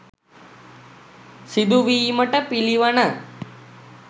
සිදුවීමට පිළිවන.